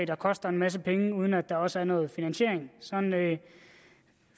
der koster en masse penge uden at der også er noget finansiering sådan